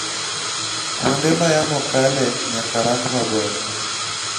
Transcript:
kuonde ma yamo kale nyaka rang maber